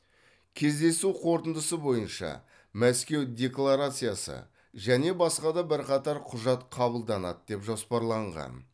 кездесу қорытындысы бойынша мәскеу декларациясы және басқа да бірқатар құжат қабылданады деп жоспарланған